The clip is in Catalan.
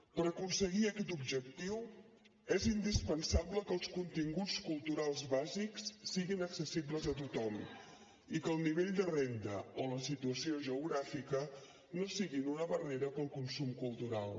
per aconseguir aquest objectiu és indispensable que els continguts culturals bàsics siguin accessibles a tothom i que el nivell de renda o la situació geogràfica no siguin una barrera per al consum cultural